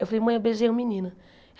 Eu falei, mãe, eu beijei um menino.